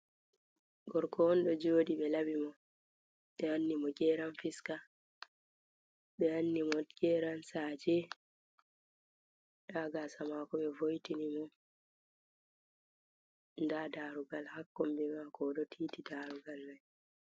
Gorko on ɗo joɗi ɓe laɓi mo nden ɓe wanni mo geran fiska. Ɓe wanni mo geran saje nda gasa mako ɓe vo'itini mo. Nda darugal ha kombi mako o do titi darugal mai.